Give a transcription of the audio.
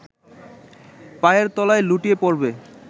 পায়ের তলায় লুটিয়ে পড়বে